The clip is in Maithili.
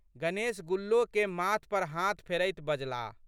गणेश गुल्लोके माथ पर हाथ फेरैत बजलाह।